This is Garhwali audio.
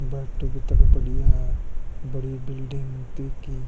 बाटू भी तख बढ़िया है बडिया बिलडिंग केकी।